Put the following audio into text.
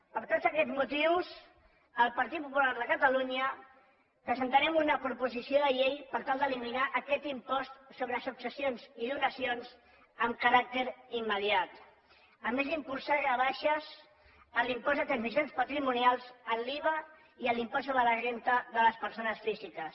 per tots aquests motius el partit popular de catalunya presentarem una proposició de llei per tal d’eliminar aquest impost sobre successions i donacions amb caràcter immediat a més d’impulsar rebaixes en l’impost de transmissions patrimonials en l’iva i en l’impost sobre la renda de les persones físiques